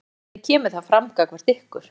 Hvernig kemur það fram gagnvart ykkur?